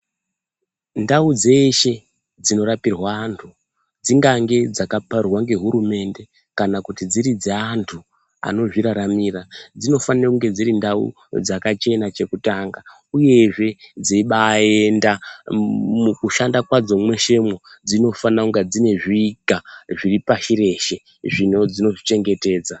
Ndau dzeshe dzinorapirwa antu dzingande dzakaparurwa ngehurumende. Kana kuti dziri dzeantu anozviraramira dzinofanire kunge dziri ndau dzakachena chekutanga, uyezve dzeibaenda mukushanda kwadzo mwesemwo dzinofanira kunga dzine zviga zviri pashi reshe dzinozvichengetedza.